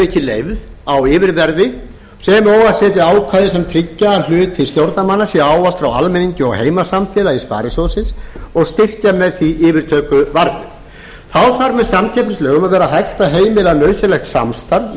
ekki leyfð á yfirverði sem og að setja ákvæði sem tryggja að hluti stjórnarmanna sé ávallt frá almenningi og heimasamfélagi sparisjóðsins og styrkja með því yfirtökuvarnir þá þarf með samkeppnislögum að vera hægt að heimila nauðsynlegt samstarf